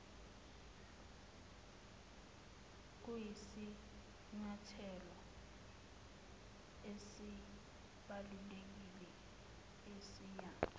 kuyisinyathelo esibalulekile esiya